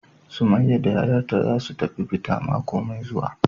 Summaiya da yayarta zasu tafi fita mako Mai zue.wa,.